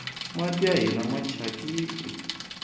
mati ya hina mathyakini